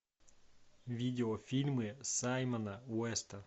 видеофильмы саймона уэста